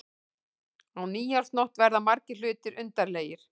Á nýársnótt verða margir hlutir undarlegir.